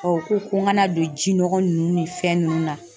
u ko ko n kana don ji nɔgɔ ninnu ni fɛn ninnu na